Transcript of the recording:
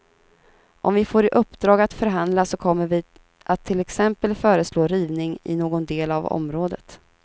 Om vi får i uppdrag att förhandla så kommer vi att till exempel föreslå rivning i någon del av området.